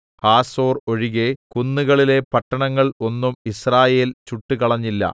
Hazor ഒഴികെ കുന്നുകളിലെ പട്ടണങ്ങൾ ഒന്നും യിസ്രായേൽ ചുട്ടുകളഞ്ഞില്ല